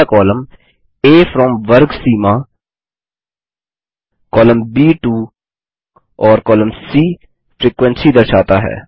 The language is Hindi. पहला कॉलम आ फ्रॉम वर्ग सीमा कॉलम ब टो और कॉलम सी फ्रीक्वेंसी दर्शाता है